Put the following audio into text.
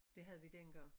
Det havde vi dengang